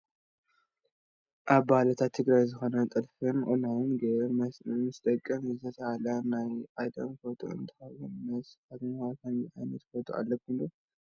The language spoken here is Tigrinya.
ካብ ባህልታት ትግራይ ዝኾነ ጥልፍን ቁናኖን ገይረን ምስደቀን ዝተስኣላ ናይ ቀደም ፎቶ እንትኾውን ንእኹም ኸ ከምዚ ዓይነት ፎቶ ኣለኩም ዶ?